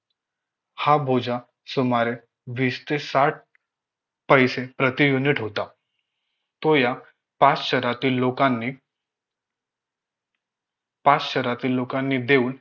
हा बोजा सुमारे वीस ते साठ पैसे प्रति unit होता तो या पाच शहरातील लोकांनी पाच शहरातील लोकांनी देऊन